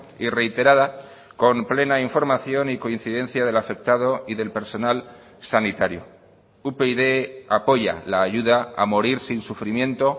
y reiterada con plena información y coincidencia del afectado y del personal sanitario upyd apoya la ayuda a morir sin sufrimiento